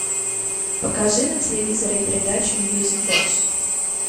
покажи на телевизоре передачу мьюзик бокс